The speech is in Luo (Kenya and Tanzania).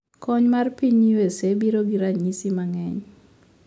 Kony mar piny USA obiro gi rasiny mang`eny